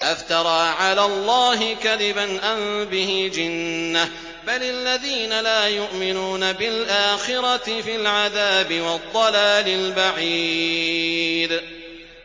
أَفْتَرَىٰ عَلَى اللَّهِ كَذِبًا أَم بِهِ جِنَّةٌ ۗ بَلِ الَّذِينَ لَا يُؤْمِنُونَ بِالْآخِرَةِ فِي الْعَذَابِ وَالضَّلَالِ الْبَعِيدِ